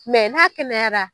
n'a kɛnɛyara